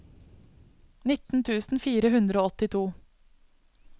nitten tusen fire hundre og åttito